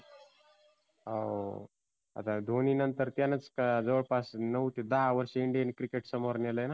हाव आता धोनी नंतर त्यानच जवळ पास नऊ ते दहा वर्ष Indian cricket समोर नेलय ना.